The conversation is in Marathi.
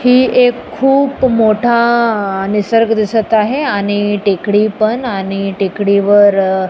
ही एक खूप मोठा निसर्ग दिसत आहे आणि टेकडी पण आणि टेकडी वर--